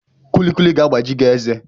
Kulikuli ga-agbaji gị eze